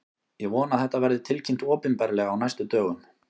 Ég vona að þetta verði tilkynnt opinberlega á næstu dögum.